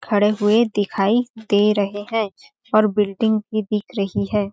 खड़े हुए दिखाई दे रहे है और बिल्डिंग भी दिख रही हैं।